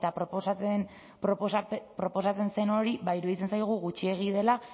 proposatzen zen hori iruditzen zaigu gutxiegi dela